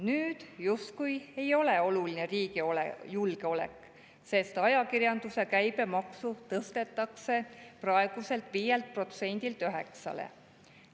Nüüd justkui ei ole oluline riigi julgeolek, sest ajakirjanduse käibemaksu tõstetakse praeguselt 5%‑lt 9%‑le.